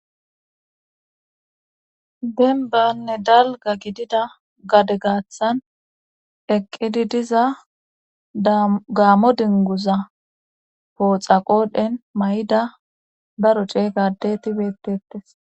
Denbanne dalga gidida gade gaaththan eqqidi diza gaammo dinguza pooxa qoodhen may7ida daro ceeygadetibettettes